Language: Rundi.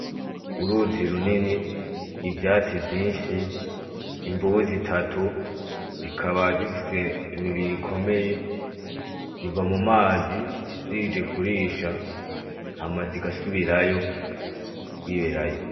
Uruzi runini, ivyatsi vyinshi, imvubu zitatu, zikaba zifise imibiri ikomeye zica mumazi zije kurusha hama zigasubirayo, kwiberayo .